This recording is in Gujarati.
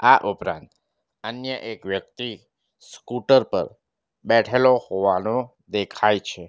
આ ઉપરાંત અન્ય એક વ્યક્તિ સ્કૂટર ઉપર બેઠેલો હોવાનો દેખાય છે.